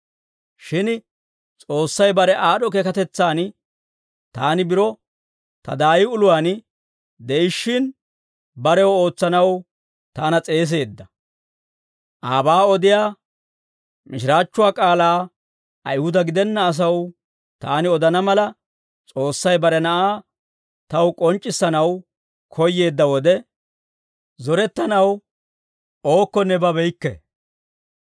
Shin S'oossay bare aad'd'o keekatetsaan, taani biro ta daayi uluwaan de'ishshin, barew ootsanaw taana s'eeseedda; aabaa odiyaa mishiraachchuwaa k'aalaa Ayihuda gidenna asaw taani odana mala, S'oossay bare Na'aa taw k'onc'c'issanaw koyyeedda wode, zorettanaw ookkonne babeykke.